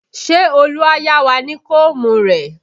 Ṣé Olu á yá wá ní koomu rẹ?